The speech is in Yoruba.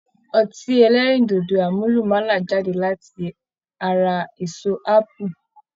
Ọtí ẹlẹ́rìndòdò àmúlùmálà jáde láti ara èso ápù